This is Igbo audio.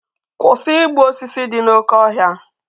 Kwụsị igbu osisi dị n'oké ọhịa!